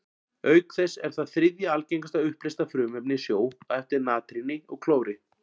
Auk þess er það þriðja algengasta uppleysta frumefnið í sjó, á eftir natríni og klóri.